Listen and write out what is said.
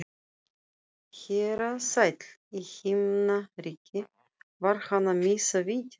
Herra sæll í himnaríki, var hann að missa vitið?